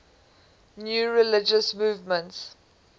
new religious movements